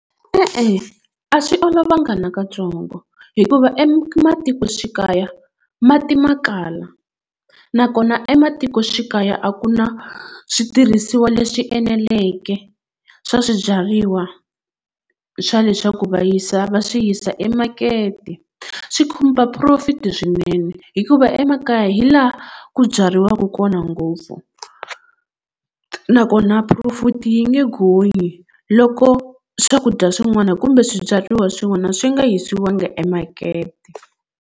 E-e a swi olovanga na katsongo hikuva ematikoxikaya mati ma kala nakona ematikoxikaya a ku na switirhisiwa leswi eneleke swa swibyariwa swa leswaku va yisa va swi yisa emakete swi khumba profit swinene hikuva emakaya hi laha ku byariwaka kona ngopfu nakona profit yi nge gonyi loko swakudya swin'wana kumbe swibyariwa swin'wana swi nga yisiwanga emakete.